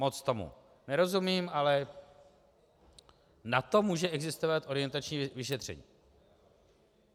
Moc tomu nerozumím, ale na to může existovat orientační vyšetření.